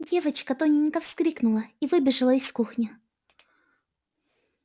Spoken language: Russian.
девочка тоненько вскрикнула и выбежала из кухни